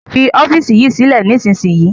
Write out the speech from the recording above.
Fi ọ́fíísì yìí sílẹ̀ nísìnyí!